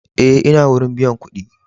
Eh, n'na wurin biyan kuɗi.